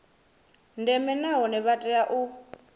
ndeme nahone vha tea u